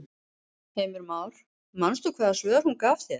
Heimir Már: Manst þú hvaða svör hún gaf þér?